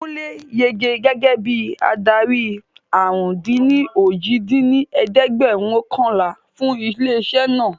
Kúnlé yege gẹ́gẹ́ bí adarí àrún-dín-ní-ojì dín ní ẹ̀ẹ́dẹ́gbẹ́ọ̀kànlá fún ilé isẹ́ naa